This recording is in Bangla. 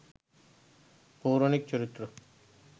পৌরাণিক চরিত্র